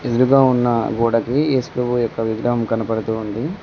ఎదురుగా ఉన్న గోడకి యేసుప్రభు యొక్క విగ్రహం కనబడుతూ ఉంది.